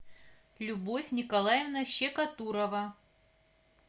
любовь николаевна щекотурова